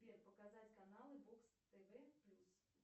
сбер показать канлы бокс тв плюс